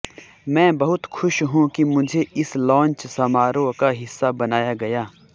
मैं बहुत खुश हूं कि मुझे इस लॉन्च समारोह का हिस्सा बनाया गया